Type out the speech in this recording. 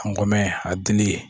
An kɔmɛ a dili.